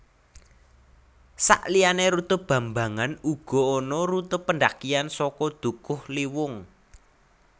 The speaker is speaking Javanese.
Sakliyané rute bambangan uga ana rute pendakian saka Dukuhliwung